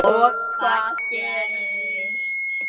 Og hvað gerist?